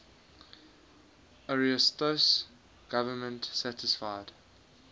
ariosto's government satisfied